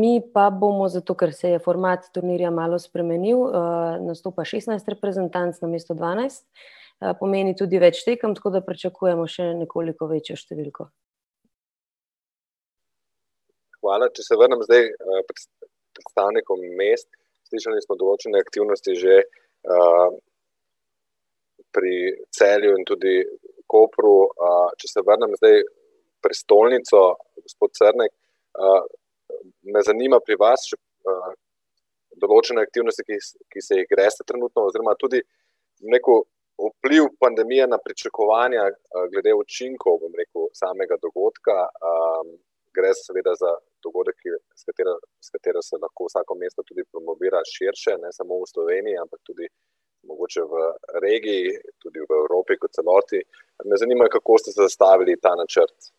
mi pa bomo, zato ker se je format turnirja malo spremenil, nastopa šestnajst reprezentanc namesto dvanajst, pomeni tudi več tekem, tako da pričakujemo še nekoliko večjo številko. Hvala, če se vrnem zdaj, ko predstavnikom mest, slišali smo določene aktivnosti že, pri Celju in tudi Kopru, če se obrnem zdaj prestolnico, gospod Cernek, me zanima pri vas še, določene aktivnosti, ki ki se jih greste trenutno, oziroma tudi, bom rekel, vpliv pandemije na pričakovanja, glede učinkov, bom rekel, samega dogodka, Gre seveda za dogodek, ki je, s katera, s katero se lahko vsako mesto tudi promovira širše, ne samo v Sloveniji, ampak tudi mogoče v regiji, tudi v Evropi, kot celoti. Me zanima, kako ste zastavili ta načrt.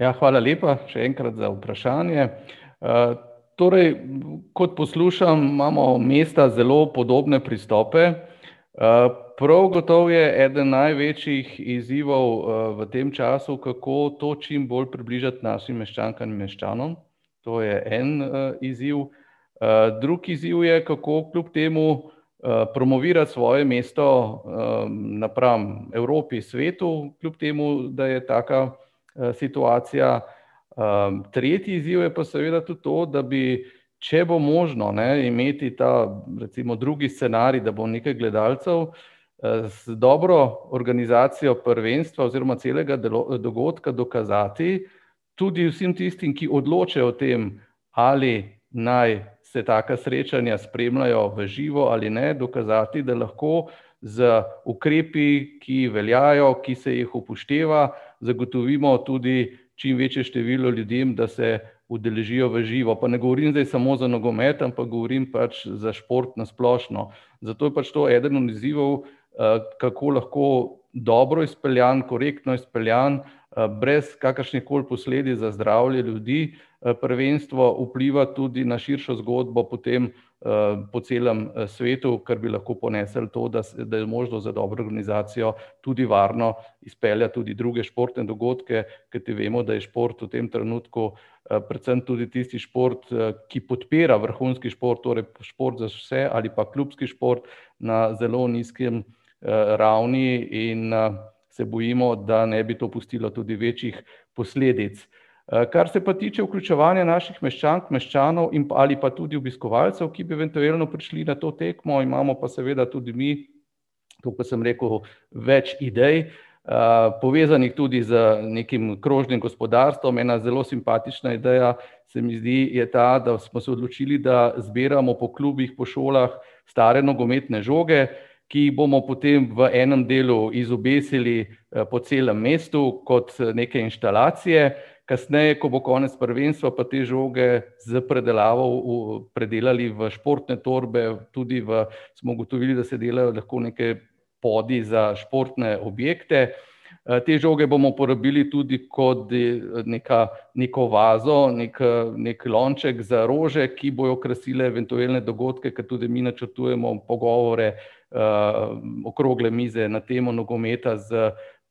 Ja, hvala lepa, še enkrat, za vprašanje, torej kot poslušam, imamo mesta zelo podobne pristope. prav gotovo je eden največjih izzivov, v tem času, kako to čim bolj približati našim meščankam in meščanom. To je en, izziv. drug izziv je, kako kljub temu, promovirati svoje mesto, napram Evropi, svetu, kljub temu da je taka, situacija. tretji izziv je pa seveda tudi to, da bi, če bo možno, ne, imeti ta recimo drugi scenarij, da bo nekaj gledalcev, z dobro organizacijo prvenstva oziroma celega dogodka dokazati tudi vsem tistim, ki odločajo o tem, ali naj se taka srečanja spremljajo v živo ali ne, dokazati, da lahko z ukrepi, ki veljajo, ki se jih upošteva, zagotovimo tudi čim večje število ljudem, da se udeležijo v živo. Pa ne govorim zdaj samo za nogomet, ampak govorim pač za šport na splošno. Zato je pač to eden od izzivov, kako lahko dobro izpeljano, korektno izpeljano, brez kakršnihkoli posledic za zdravje ljudi, prvenstvo vpliva tudi na širšo zgodbo potem po celem, svetu, kar bi lahko ponesli to, da da je možno z dobro organizacijo tudi varno speljati tudi druge športne dogodke. Kajti vemo, da je šport v tem trenutku, predvsem tudi tisti šport, ki podpira vrhunski šport, torej šport za vse ali pa klubski šport, na zelo nizki, ravni in, se bojimo, da ne bi to pustilo tudi večjih posledic. kar se pa tiče vključevanja naših meščank, meščanov in pa, ali pa tudi obiskovalcev, ki bi eventuelno prišli na to tekmo, imamo pa seveda tudi mi, tako, kot sem rekel, več idej, povezanih tudi z nekim krožnim gospodarstvom, ena zelo simpatična ideja se mi zdi, je ta, da smo se odločili, da zbiramo po klubih, po šolah stare nogometne žoge, ki jih bomo potem v enem delu izobesili, po celem mestu kot neke inštalacije, kasneje, ko bo konec prvenstva, pa te žoge s predelavo predelali v športne torbe, tudi v, smo ugotovili, da se delajo lahko neke bodi za športne objekte. te žoge bomo porabili tudi neka, neko vazo, neki, neki lonček za rože, ki bojo krasile eventuelne dogodke, kar tudi mi načrtujemo pogovore, okrogle mize na temo nogometa s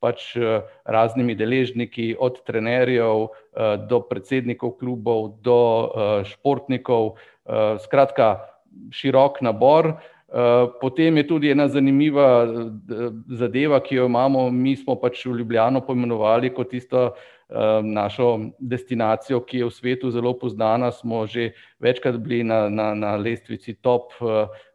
pač, raznimi deležniki, od trenerjev, do predsednikov klubov, do, športnikov, skratka, širok nabor. potem je tudi ena zanimiva, zadeva, ki jo imamo, mi smo pač Ljubljano poimenovali kot tisto, našo destinacijo, ki je v svetu zelo poznana, smo že večkrat bili na, na, na lestvici top,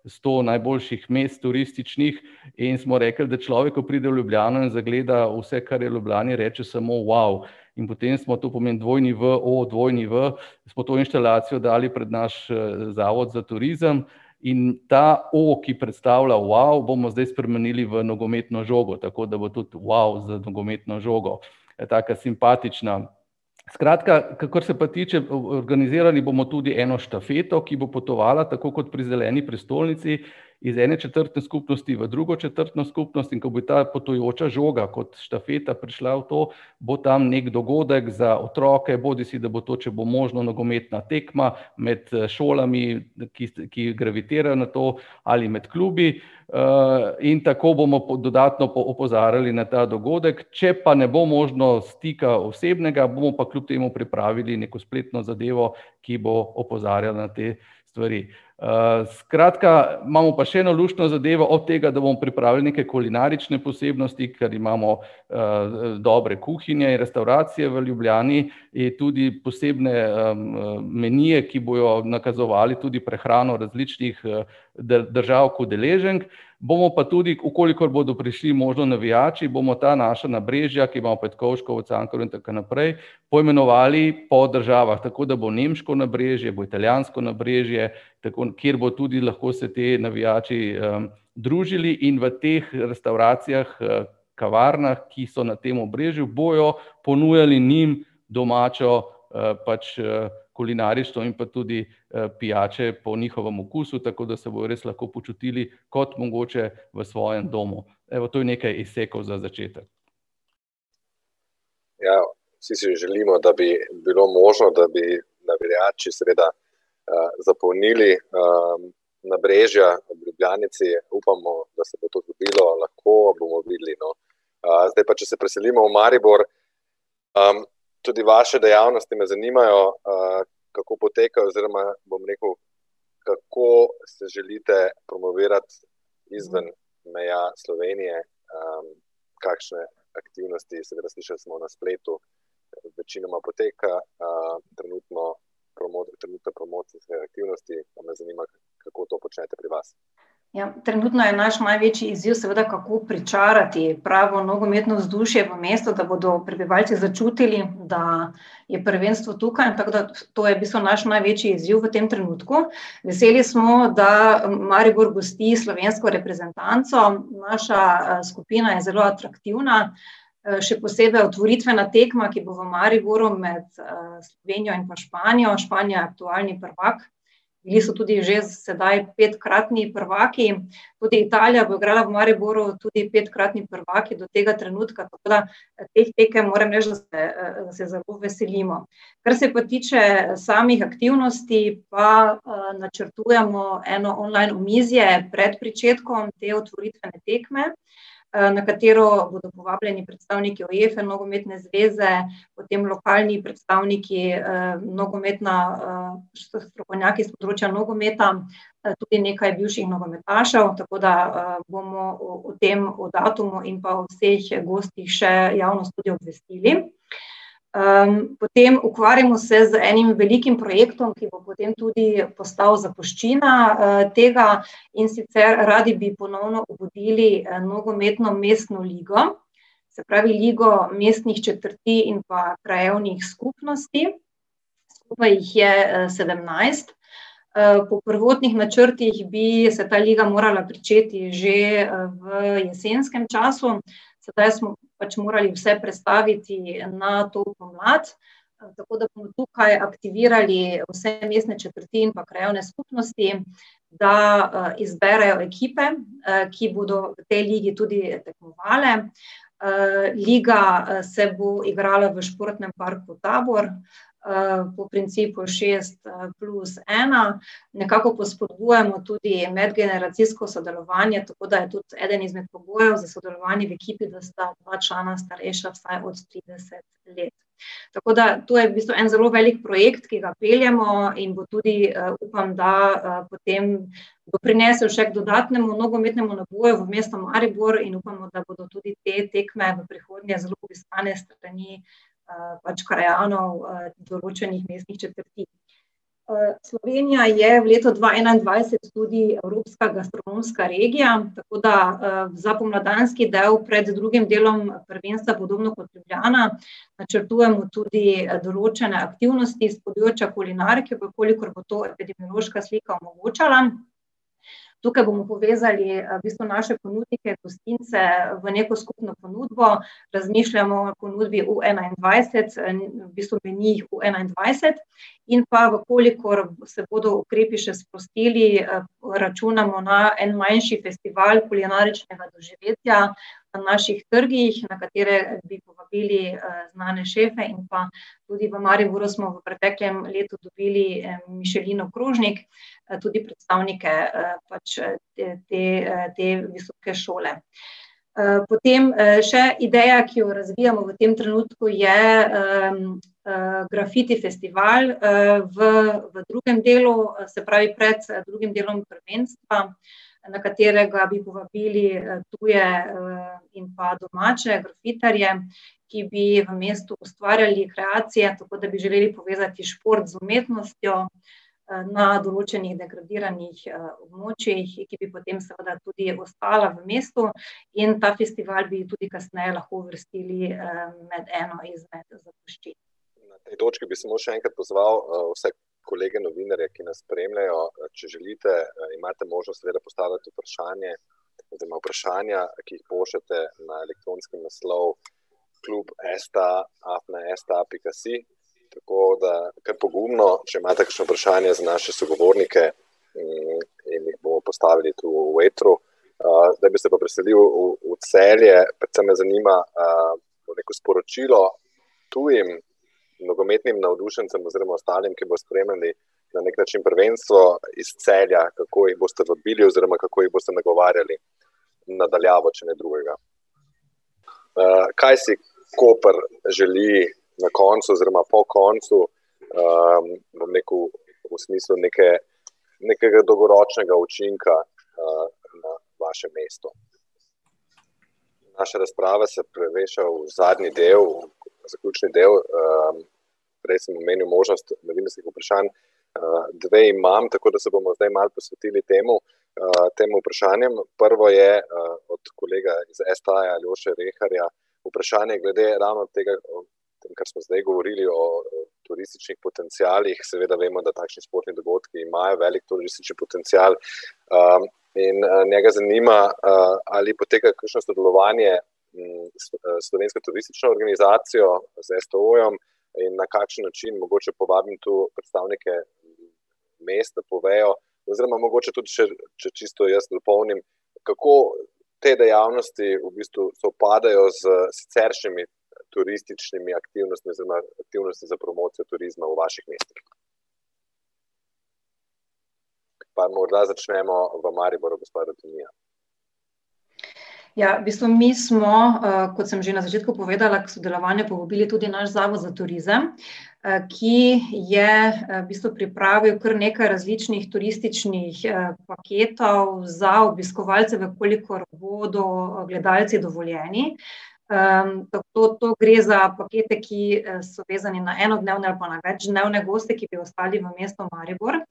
sto najboljših mest, turističnih, in smo rekli, da človek, ko pride v Ljubljano in zagleda vse, kar je v Ljubljani, reče samo: "Wow." In potem smo, to pomeni dvojni w, o, dvojni w, smo to inštalacijo dali pred naš, zavod za turizem in ta o, ki predstavlja wow, bomo zdaj spremenili v nogometno žogo, tako da bo tudi wow za nogometno žogo. taka simpatična ... Skratka, kakor se pa tiče, organizirali bomo tudi eno štafeto, ki bo potovala, tako kot pri zeleni prestolnici, iz ene četrtne skupnosti v drugo četrtno skupnost, in ko bo ta potujoča žoga kot štafeta prišla v to, bo tam neki dogodek za otroke, bodisi da bo to, če bo možno, nogometna tekma med, šolami, ki, ki gravitira na to, ali med klubi, in tako bomo dodatno opozarjali na ta dogodek. Če pa ne bo možno stika osebnega, bomo pa kljub temu pripravili neko spletno zadevo, ki bo opozarjala na te stvari. skratka, imamo pa še eno luštno zadevo, od tega, da bomo pripravili neke kulinarične posebnosti, ker imamo, dobre kuhinje, restavracije v Ljubljani in tudi posebne, menije, ki bojo nakazovali tudi prehrano v različnih, državah udeleženk, bomo pa tudi, v kolikor bodo prišli možno navijači, bomo ta naša nabrežja, recimo Petkovškovo, Cankarjevo in tako naprej, poimenovali po državah, tako da bo Nemško nabrežje, bo Italijansko nabrežje, tako, kjer bo tudi lahko se ti navijači, družili in v teh restavracijah, kavarnah, ki so na tem obrežju, bojo ponujali njim domačo, pač, kulinarično in pa tudi, pijače po njihovem okusu, tako da se bodo res lahko počutili kot mogoče v svojem domu. Evo, to je nekaj izsekov za začetek. Ja, vsi si želimo, da bi bilo možno, da bi navijači seveda, zapolnili, nabrežja ob Ljubljanici, upamo, da se bo to zgodilo lahko, bomo videli, no. zdaj pa, če se preselimo v Maribor. tudi vaše dejavnosti me zanimajo, kako potekajo oziroma, bom rekel, kako se želite promovirati izven meja Slovenije? kakšne aktivnosti, seveda slišali smo na spletu, večinoma poteka, trenutno trenutno promocijske aktivnosti, pa me zanima, kako to počnete pri vas. Ja, trenutno je naš največji izziv seveda kako pričarati pravo nogometno vzdušje v mestu, da bodo prebivalci začutili, da je prvenstvo tukaj, tako da to je v bistvu naš največji izziv v tem trenutku. Veseli smo, da Maribor gosti slovensko reprezentanco, naša, skupina je zelo aktivna, še posebej otvoritvena tekma, ki bo v Mariboru med, Slovenijo in pa Španijo, Španija je aktualni prvak in so tudi že sedaj petkratni prvaki. Tudi Italija bo igrala v Mariboru, tudi petkratni prvaki do tega trenutka, tako da, teh tekem, moram reči, da se, se zelo veselimo. Kar se pa tiče samih aktivnosti, pa, načrtujemo eno online omizje pred pričetkom te otvoritvene tekme, na katero bodo povabljeni predstavniki UEFE, nogometne zveze, potem lokalni predstavniki, Nogometna, strokovnjaki s področja nogometa, potem nekaj bivših nogometašev, tako da, bomo v, v tem, o datumu in pa od teh gostih še javnost tudi obvestili. potem ukvarjamo se z enim velikim projektom, ki bo potem tudi postal zapuščina, tega, in sicer radi bi ponovno obudili, nogometno mestno ligo, se pravi ligo mestnih četrti in pa krajevnih skupnosti. Skupaj jih je, sedemnajst. po prvotnih načrtih bi se ta liga morala pričeti že, v jesenskem času, sedaj smo pač morali vse prestaviti na to pomlad, tako da smo tukaj aktivirali vse mestne četrti in pa krajevne skupnosti, da, izberejo ekipe, ki bodo v tej ligi tudi tekmovale. liga, se bo igrala v športnem parku Tabor, po principu šest, plus ena, nekako pa spodbujamo tudi medgeneracijsko sodelovanje, tako da je tudi eden izmed pogojev za sodelovanje v ekipi, da sta dva člana starejša vsaj od trideset let. Tako da to je v bistvu en zelo velik projekt, ki ga peljemo, in bo tudi, upam, da, potem, bo prinesel še k dodatnemu nogometnemu naboju v mesto Maribor in upamo, da bodo tudi te tekme v prihodnje zelo obiskane s strani, pač krajanov, določenih mestnih četrti. Slovenija je leta dva enaindvajset tudi Evropska gastronomska regija, tako da, za pomladanski del pred drugim delom prvenstva podobno kot Ljubljana načrtujemo tudi, določene aktivnosti s področja kulinarike, v kolikor bo to epidemiološka slika omogočala. Tukaj bomo povezali, v bistvu naše ponudnike, gostince, v neko skupno ponudbo, razmišljamo o ponudbi U enaindvajset, v bistvu menijih bo enaindvajset, in pa v kolikor se bodo ukrepi še sprostili, računamo na en manjši festival kulinaričnega doživetja naših trgih, na katere bi povabili, znane šefe, in pa tudi v Mariboru smo v preteklem letu dobili en Michelinov krožnik, tudi predstavnike, pač, te, te visoke šole. potem, še ideja, ki jo razvijamo v tem trenutku, je, Grafiti festival, v, v drugem delu, se pravi pred, drugim delom prvenstva, na katerega bi povabili, tuje, in pa domače grafitarje, ki bi v mestu ustvarjali kreacije, tako da bi želeli povezati šport z umetnostjo, na določenih degradiranih, območjih in ki bi potem seveda tudi ostala v mestu. In ta festival bi tudi kasneje lahko uvrstili, med eno izmed zapuščin. Na tej točki bi samo še enkrat pozval, vse kolege novinarje, ki nas spremljajo, če želite, imate možnost zdajle postaviti vprašanje oziroma vprašanja, ki jih pošljete na elektronski naslov klub sta afna sta pika si. Tako da kar pogumno, če imate kakšno vprašanje za naše sogovornike, in jih bomo postavili tu v etru. zdaj bi se pa preselil v, v Celje, predvsem me zanima, bom rekel sporočilo tujim nogometnim navdušencem oziroma ostalim, ki bodo spremljali na neki način prvenstvo iz Celja. Kako jih boste vabili oziroma kako jih boste nagovarjali na daljavo, če ne drugega? kaj si Koper želi na koncu oziroma po koncu, bom rekel, v smislu neke, nekega dolgoročnega učinka, na vaše mesto? Naša razprava se preveša v zadnji del, v zaključni del, prej sem omenil možnost novinarskih vprašanj, dve imam, tako da se bomo zdaj malo posvetili temu, tem vprašanjem. Prvo je, od kolega z STA-ja, Aljoša Reharja. Vprašanje glede ravno tega o, o tem, kar smo zdaj govorili, o turističnih potencialih, seveda vemo, da takšni športni dogodki imajo velik turistični potencial. in, njega zanima, ali poteka kakšno sodelovanje, seveda s Slovensko turistično organizacijo, z STO-jem, in na kakšen način, mogoče povabim tu predstavnike mest, da povejo, oziroma mogoče tudi še, če čisto jaz dopolnim, kako te dejavnosti v bistvu sovpadejo s siceršnjimi turističnimi aktivnostmi oziroma aktivnostmi za promocijo turizma v vaših mestih? Pa morda začnemo v Mariboru, gospa Ritonija. Ja, v bistvu mi smo, kot sem že na začetku povedala, k sodelovanju povabili tudi naš Zavod za turizem, ki je v bistvu pripravil kar nekaj različnih turističnih, paketov za obiskovalce, v kolikor bodo gledalci dovoljeni. to, to gre za pakete, ki, so vezani na enodnevne ali pa na večdnevne goste, ki bi ostali v mestu Maribor.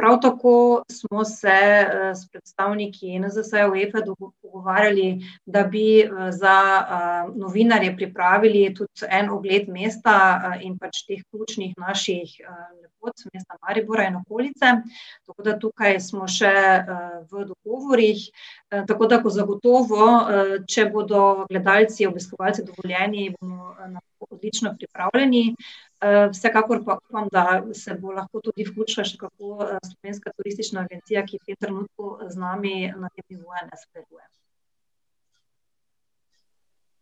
Prav tako smo se, s predstavniki NZS-ja UEFA dogovarjali, da bi, za, novinarje pripravili tudi en ogled mesta, in pač teh ključnih naših, pot mesta Maribora in okolice. Tako da tukaj smo še, v dogovorih, tako da bo zagotovo, če bodo gledalci, obiskovalci dovoljeni bomo, odlično pripravljeni, vsekakor pa upam, da se bo lahko tudi vključila še kako Slovenska turistična agencija, ki v tem trenutku, z nami na tem nivoju ne sodeluje.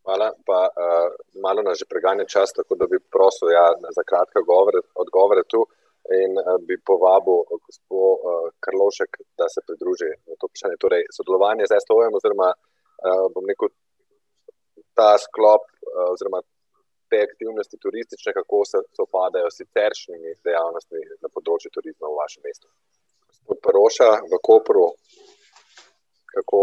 Hvala, ta, ... Malo nas že preganja čas, tako da bi prosil, ja, za kratke odgovore, odgovore tu in, bi povabil, gospo, Karlovšek, da se pridruži na to vprašanje, torej sodelovanjem z STO-jem oziroma, bom rekel, ta sklop, oziroma te aktivnosti turistične, kako se sovpadejo s siceršnjimi dejavnostmi na področju turizma v vašem mestu? Gospod Peroša, v Kopru, kako,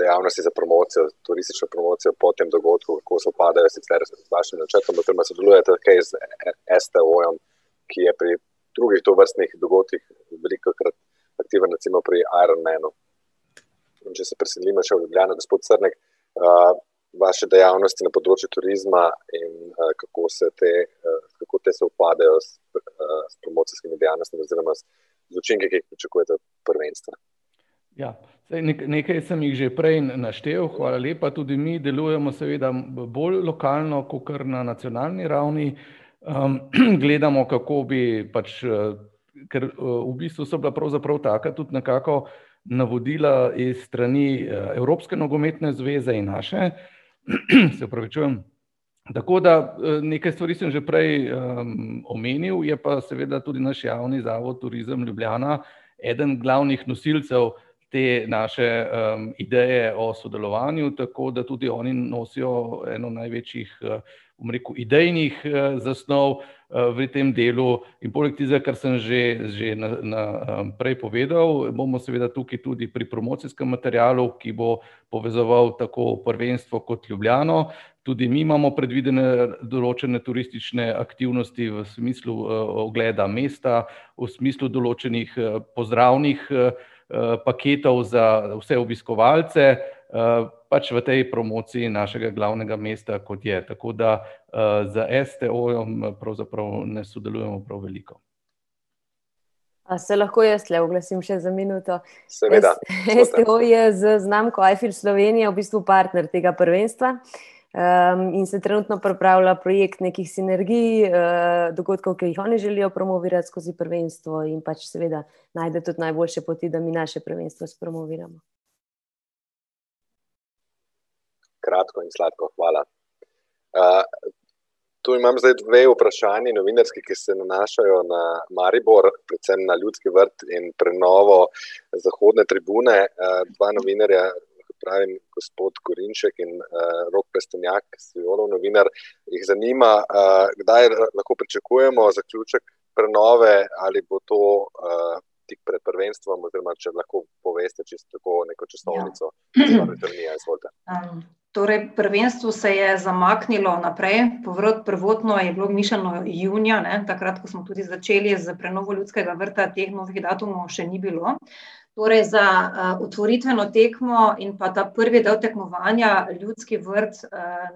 dejavnosti za promocijo, turistično promocijo po tem dogodku, kako sovpadejo sicer z vašim načrtom oziroma sodelujete kaj z STO-jem, ki je pri drugih tovrstnih dogodkih velikokrat aktiven, recimo pri Ironmanu? In če se preselimo še v Ljubljano, gospod Crnek, vaše dejavnosti na področju turizma in, kako se te, kako te sovpadejo s, s promocijskimi dejavnostmi oziroma učinki, ki jih pričakujete od prvenstva? Ja, saj nekaj sem jih že prej naštel, hvala lepa, tudi mi delujemo seveda bolj lokalno kakor na nacionalni ravni, gledamo, kako bi pač, ... Ker, v bistvu so bila pravzaprav taka tudi nekako navodila iz strani, Evropske nogometne zveze in naše, , se opravičujem, tako da, nekaj stvari sem že prej, omenil, je pa seveda tudi naš Javni zavod Turizem Ljubljana eden glavnih nosilcev te naše, ideje o sodelovanju, tako da tudi oni nosijo eno največjih, bom rekel idejnih, zasnov, v tem delu. In poleg tistega, kar sem že, že na, na, prej povedal, bomo seveda tukaj tudi pri promocijskem materialu, ki bo povezoval tako prvenstvo kot Ljubljano. Tudi mi imamo predvidene določene turistične aktivnosti v smislu, ogleda mesta, v smislu določenih, pozdravnih, paketov za vse obiskovalce, pač v tej promociji našega glavnega mesta, kot je, tako da, s STO-jem pravzaprav ne sodelujemo prav veliko. A se lahko jaz tule oglasim še za minuto? Seveda. STO je z znamko I feel Slovenia v bistvu partner tega prvenstva, in se trenutno pripravlja projekt nekih sinergij, dogodkov, ki jih oni želijo promovirati skozi prvenstvo, in pač seveda najde tudi najboljše poti, da bi naše prvenstvo spromoviral. Kratko in sladko, hvala. to imam zdaj dve vprašanji, novinarski, ki se nanašajo na Maribor, predvsem na Ljudski vrt in prenovo zahodne tribune, dva novinarja, se pravi, gospod Korinšek in, Rok Trstenjak, Siolov novinar, jih zanima, kdaj lahko pričakujemo zaključek prenove, ali bo to, tik pred prvenstvom oziroma če lahko poveste čisto tako neko časovnico. Gospa Ritonija, izvolite. Torej, prvenstvo se je zamaknilo naprej, prvotno je bilo mišljeno junija, ne, takrat ko smo tudi začeli s prenovo Ljudskega vrta teh datumov še ni bilo. Torej za, otvoritveno tekmo in pa do prvega tekmovanja Ljudski vrt,